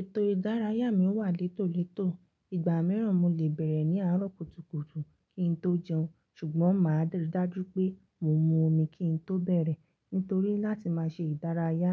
Ètò ìdárayá mi wà létòletò, ìgbà mìíràn mo lè bẹ̀rẹ̀ ní àárọ̀ kùtùkùtù kí n tó jẹun ṣùgbọ́n màá rí dájú pé mo mu omi kí n tó bẹ̀rẹ̀ nítorí láti má ṣe ìdárayá,